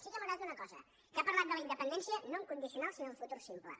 sí que m’ha agradat una cosa que ha parlat de la independència no en condicional sinó en futur simple